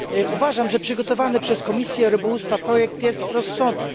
Uważam, że przygotowany przez Komisję Rybołówstwa projekt jest rozsądny.